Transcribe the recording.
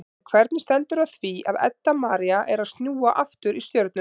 En hvernig stendur á því að Edda María er að snúa aftur í Stjörnuna?